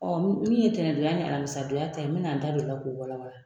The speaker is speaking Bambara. min ye tɛnɛndonya ni alamisadonya ta ye n mi na n da don o la k'o walawala.